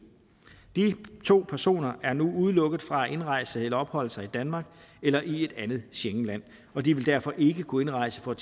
de to personer er nu udelukket fra at indrejse eller opholde sig i danmark eller i et andet schengenland og de vil derfor ikke kunne indrejse for at